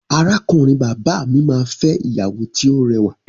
Arákùnrin bàbá mi máa fẹ́ ìyàwó tí ó rẹwà.